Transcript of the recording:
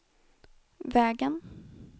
vägen